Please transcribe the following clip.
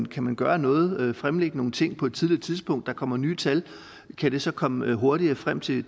kan man gøre noget fremlægge nogle ting på et tidligere tidspunkt og der kommer nye tal og kan det så komme hurtigere frem til